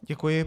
Děkuji.